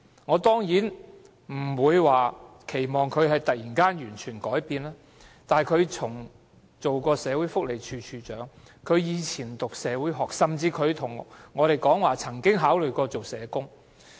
我當然不期望她會突然完全地改變，但她畢竟曾任社會福利署署長，從前又修讀社會學，而她也向我們表示她曾考慮當社工。